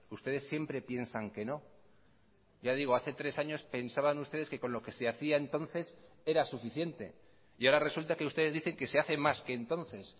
ustedes siempre piensan que no ya digo hace tres años pensaban ustedes que con lo que se hacía entonces era suficiente y ahora resulta que ustedes dicen que se hace más que entonces